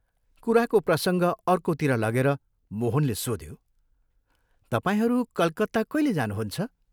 कुराको प्रसङ्ग अर्कोतिर लगेर मोहनले सोध्यो, " तपाईंहरू कलकत्ता कैले जानुहुन्छ?